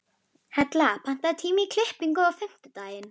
Hella, pantaðu tíma í klippingu á fimmtudaginn.